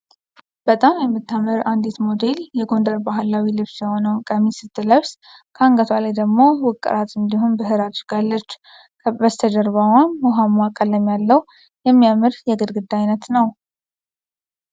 በጣም የምታምር አንዲት ሞዴል የጎንደር ባህላዊ ልብስ የሆነውን ቀሚስ ስትለብስ ከአንገቷ ላይ ደሞ ውቅራት እንዲሁም ብህር አድርጋለች ።በስተጀርባዋም ውሃማ ቀለም ያለው የሚያምር የግድግዳ አይነት ነው ።